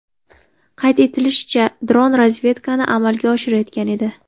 Qayd etilishicha, dron razvedkani amalga oshirayotgan edi.